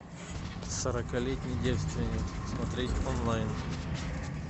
сорокалетний девственник смотреть онлайн